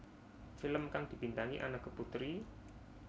Film kang dibintangi Anneke Putri